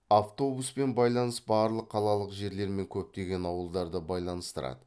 автобуспен байланыс барлық қалалық жерлер мен көптеген ауылдарды байланыстырады